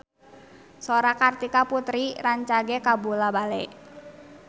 Sora Kartika Putri rancage kabula-bale